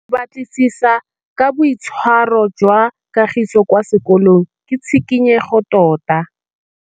Go batlisisa ka boitshwaro jwa Kagiso kwa sekolong ke tshikinyêgô tota.